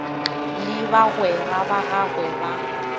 le bagwera ba gagwe ba